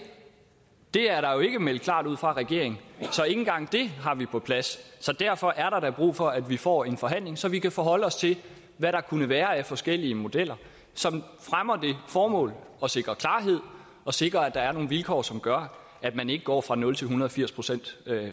det er jo ikke meldt klart ud fra regeringens så ikke engang det har vi på plads så derfor er der da brug for at vi får en forhandling så vi kan forholde os til hvad der kunne være af forskellige modeller som fremmer det formål og sikrer klarhed og sikrer at der er nogle vilkår som gør at man ikke går fra nul til en hundrede og firs procent